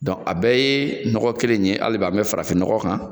Donc a bɛɛ ye nɔgɔ kelen in ye hali bɛ ani bi farafin nɔgɔ kan.